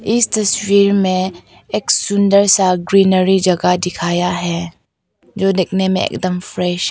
इस तस्वीर में एक सुंदर सा ग्रीनरी जगह दिखाया है जो देखने में एकदम फ्रेश है।